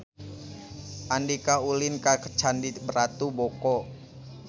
Andika ulin ka Candi Ratu Boko